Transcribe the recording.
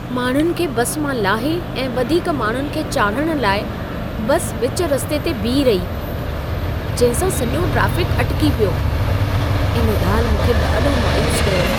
माण्हुनि खे बस मां लाहे ऐं वधीक माण्हुनि खे चाढ़िहण लाइ बस विच रस्ते ते बीह रही, जंहिं सां सॼो ट्रेफ़िक अटिकी पियो। इन ॻाल्हि मूंखे ॾाढो मायूसु कयो।